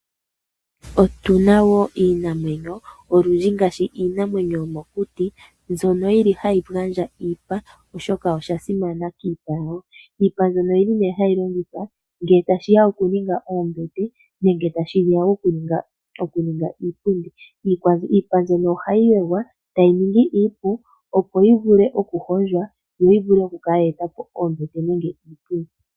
Otuna wo iinamwenyo olundji ngaashi iinamwenyo yomokuti mbyono yili hayi gandja iipa oshoka osha simana kiipa yawo. Iipa mbyono oyili nee hayi longithwa ngele tashiya okuninga oombete nenge tashiya wo okuninga iipundi. Iipa mbyono ohayi wegwa etayi ningi iipu opo yivule okuhondjwa yo yivule okukala yeeta po oombete nenge iipundi.